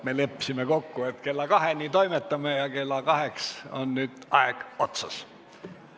Me leppisime kokku, et kella kaheni toimetame, ja kell on nüüd kohe kaks.